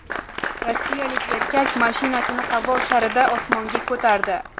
Rossiyalik erkak mashinasini havo sharida osmonga ko‘tardi .